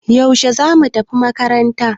Yaushe zamu tafi makaranta?